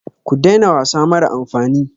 Ku daina wasa mara amfani.